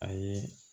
A ye